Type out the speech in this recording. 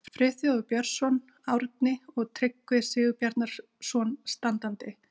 Friðþjófur Björnsson, Árni og Tryggvi Sigurbjarnarson standandi.